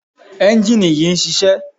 ẹ́njìnì yìí ń ṣiṣẹ́.